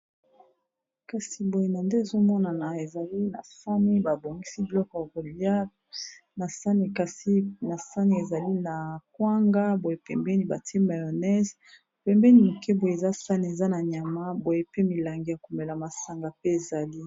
kasi boye na nde ezomonana ezali na sahani babongisi biloko yakolia na sahani, kasi na sahani ezali na kwanga boye pembeni bati ba mayonnaise pembeni moke boye eza sahane eza na nyama boye pe milangi ya komela masanga pe ezali.